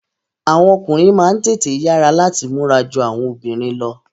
Àwọn ọkùnrin máa n tètè yara lati múra jù awọn obìnrin lọ.